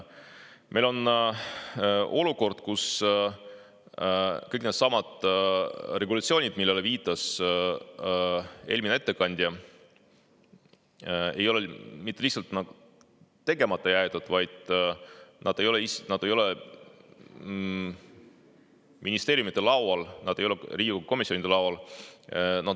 Meil on olukord, kus kõik needsamad regulatsioonid, millele viitas eelmine ettekandja, ei ole mitte lihtsalt tegemata jäetud, vaid nad ei ole ministeeriumide laual, nad ei ole Riigikogu komisjonide laual.